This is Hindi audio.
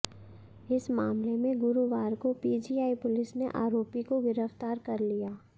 इस मामले में गुरुवार को पीजीआई पुलिस ने आरोपी को गिरफ्तार कर लिया